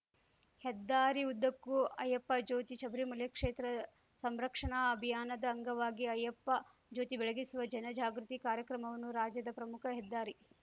ಹೆದ್ದಾರಿಉದ್ದಕ್ಕೂ ಅಯ್ಯಪ್ಪ ಜ್ಯೋತಿ ಶಬರಿಮಲೈ ಕ್ಷೇತ್ರ ಸಂರಕ್ಷಣಾ ಅಭಿಯಾನದ ಅಂಗವಾಗಿ ಅಯ್ಯಪ್ಪ ಜ್ಯೋತಿ ಬೆಳಗಿಸುವ ಜನ ಜಾಗೃತಿ ಕಾರ್ಯಕ್ರಮವನ್ನು ರಾಜ್ಯದ ಪ್ರಮುಖ ಹೆದ್ದಾರಿ